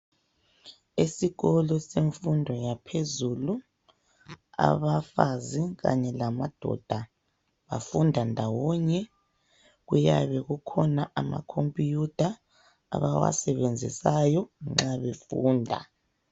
Esikolo semfundo yaphezulu abafazi kanye lamadoda bafunda ndawonye. Kuyabe kukhona amakhompuyutha abawasebenzisayo nxa befunda.